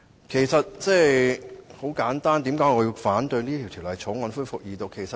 為何我反對《條例草案》恢復二讀呢？